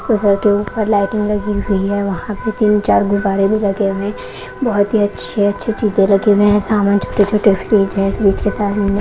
उधर के ऊपर लाइटिंग लगी हुई है वहाँ पर तीन चार गुब्बारे भी लगे हुए हैं बहुत ही अच्छे अच्छे चीज़ें लगे हुए हैं सामान छोटे छोटे फ्रिज़ हैं फ्रिज़ के सामने --